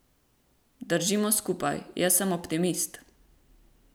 Držimo skupaj, jaz sem optimist.